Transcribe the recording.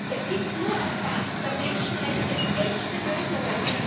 Es gibt nur auf Basis der Menschenrechte echte Lösungen.